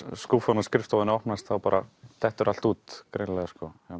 skúffan á skrifstofunni opnast þá bara dettur allt út greinilega